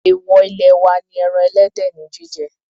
Èwò ilé wa ni ẹran ẹlẹ́dẹ̀ ní jíjẹ.